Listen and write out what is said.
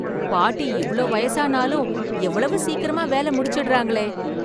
பாட்டி இவ்ளோ வயசானாலும் எவ்வளவு சீக்கிரமா வேலை முடிச்சுடுறாங்களே!